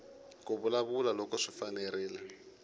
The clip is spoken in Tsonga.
ku vulavula loko swi fanerile